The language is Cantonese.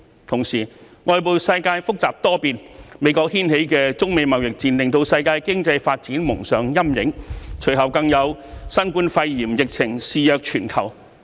同時，外部世界複雜多變，美國掀起的中美貿易戰令世界經濟蒙上陰影，隨後更有新冠肺炎疫情肆虐全球。